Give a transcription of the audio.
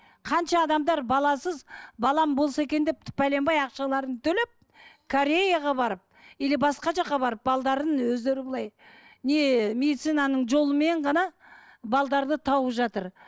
қанша адамдар баласыз балам болса екен деп тіпті бәленбай ақшаларын төлеп кореяға барып или басқа жаққа барып өздері былай не медицинаның жолымен ғана тауып жатыр